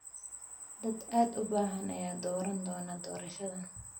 Dad aad u badan ayaa dooran doona doorashadan.